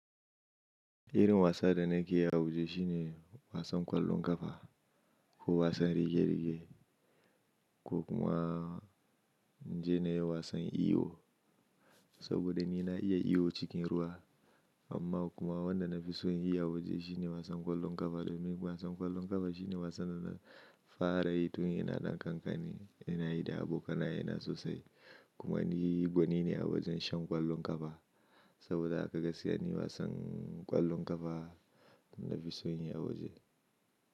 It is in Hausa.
Irin wasa da nakeyi a waje shine wasan ƙwallon ƙafa ko wasan rige-rige, ko kuma naje nayi wasan iwo saboda ni na iya iwo cikin ruwa. Amma kuma wanda na fi so yin shi a waje shine wasan ƙwallon ƙafa domin wasan ƙwallon ƙafa shine wasan da na fara yi tun ina dan kankani, ina yi da abokanai na sosai. Kuma ni gwani ne a wajen shan ƙwallon ƙafa saboda haka gaskiya ni ina son ƙwallon ƙafa da na fi so yi a waje.